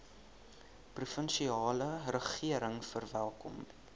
provinsiale regering verwelkom